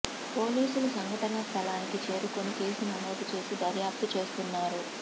పోలీసులు సంఘటనా స్థలానికి చేరుకొని కేసు నమోదు చేసి దర్యాప్తు చేస్తున్నారు